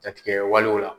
Jatigɛwalew la